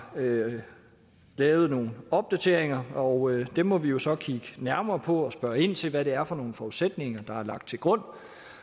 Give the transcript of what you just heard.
lavet nogle opdateringer og dem må vi jo så kigge nærmere på og spørge ind til hvad det er for nogle forudsætninger der er lagt til grund